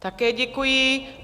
Také děkuji.